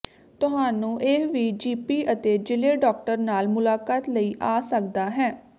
ਤੁਹਾਨੂੰ ਇਹ ਵੀ ਜੀਪੀ ਅਤੇ ਜ਼ਿਲ੍ਹੇ ਡਾਕਟਰ ਨਾਲ ਮੁਲਾਕਾਤ ਲਈ ਆ ਸਕਦਾ ਹੈ